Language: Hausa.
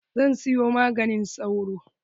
Zan siyo maganin sauro.